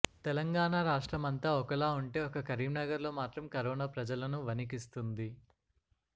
తెలంగాణా రాష్ట్రం అంతా ఒకలా ఉంటె ఒక్క కరీం నగర్ లో మాత్రం కరోనా ప్రజలను వణికిస్తుంది